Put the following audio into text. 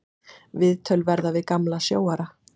Viðtöl verða við gamla sjóara.